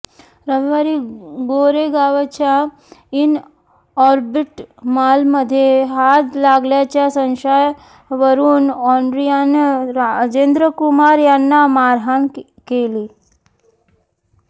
रविवारी गोरेगावच्या Inorbit मॉलमध्ये हात लागल्याच्या संशयावरून अँड्रियानं राजेंद्र कुमार यांना मारहाण केली